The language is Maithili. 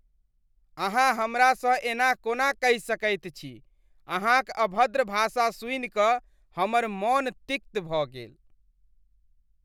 अहाँ हमरासँ एना कोना कहि सकैत छी, अहाँक अभद्र भाषा सुनि कऽ हमर मन तिक्त भऽ गेल।